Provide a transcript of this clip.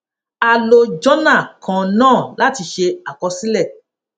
a lo jọnà kan náà láti ṣe àkọsílẹ